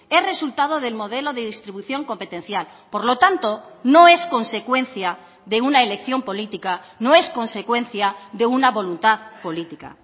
es resultado del modelo de distribución competencial por lo tanto no es consecuencia de una elección política no es consecuencia de una voluntad política